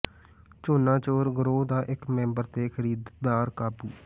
ਝੋਨਾ ਚੋਰ ਗਰੋਹ ਦਾ ਇਕ ਮੈਂਬਰ ਤੇ ਖ਼ਰੀਦਦਾਰ ਕਾਬੂ